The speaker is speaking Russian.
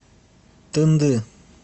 тынды